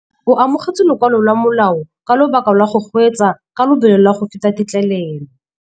O amogetse lokwalô lwa molao ka lobaka lwa go kgweetsa ka lobelo la go feta têtlêlêlô.